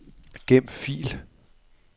Gem fil.